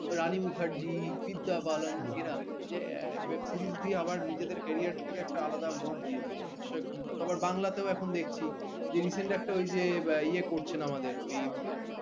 রানী মুখার্জি বিদ্যা বালান এরা যে ও web series আবার নিজেদের career টাকে আলাদা মোড় দিয়ে দিল অক্ষয় খান্না তারপর বাংলাতেও আবার দেখছি যে recent একটা ওই যে ইয়ে করছেন আমাদের ওই